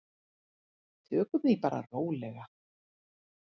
Tökum því bara rólega.